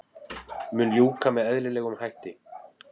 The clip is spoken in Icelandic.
Mun ljúka með eðlilegum hætti